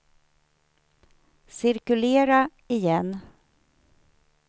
cirkulera igen